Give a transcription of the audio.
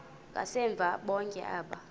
ngasemva bonke aba